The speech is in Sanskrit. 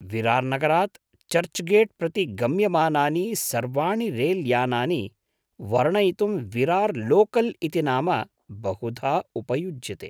विरार्नगरात् चर्च् गेट् प्रति गम्यमानानि सर्वाणि रेल्यानानि वर्णयितुं विरार् लोकल् इति नाम बहुधा उपयुज्यते।